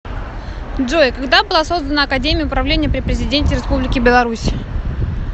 джой когда была создана академия управления при президенте республики беларусь